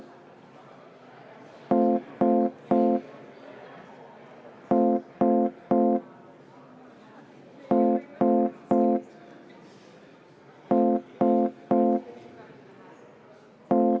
Nii et kuulutan välja vaheaja 10 minutit.